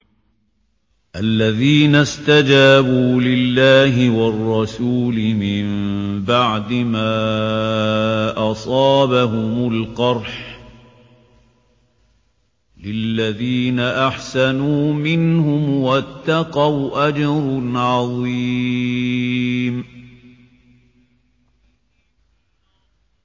الَّذِينَ اسْتَجَابُوا لِلَّهِ وَالرَّسُولِ مِن بَعْدِ مَا أَصَابَهُمُ الْقَرْحُ ۚ لِلَّذِينَ أَحْسَنُوا مِنْهُمْ وَاتَّقَوْا أَجْرٌ عَظِيمٌ